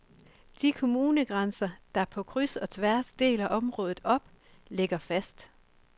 De kommunegrænser, der på kryds og tværs deler området op, ligger fast.